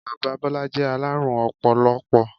Bàbá Bọ́lá jẹ́ alárùn ọpọlọpọ.